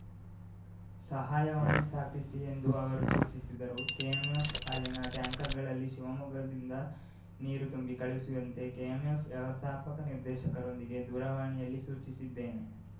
ಸಹಾಯವಾಣಿ ಸ್ಥಾಪಿಸಿ ಎಂದು ಅವರು ಸೂಚಿಸಿದರು ಕೆಎಂಎಫ್‌ ಹಾಲಿನ ಟ್ಯಾಂಕರ್‌ಗಳಲ್ಲಿ ಶಿವಮೊಗ್ಗದಿಂದ ನೀರು ತುಂಬಿ ಕಳಿಸುವಂತೆ ಕೆಎಂಎಫ್‌ ವ್ಯವಸ್ಥಾಪಕ ನಿರ್ದೇಕರೊಂದಿಗೆ ದೂರವಾಣಿಯಲ್ಲಿ ಸೂಚಿಸಿದ್ದೇನೆ